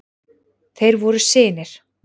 Þeir voru synir